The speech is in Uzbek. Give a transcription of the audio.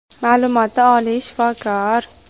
Ma’lumoti oliy, shifokor.